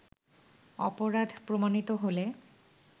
অপরাধ প্রমাণিত হলে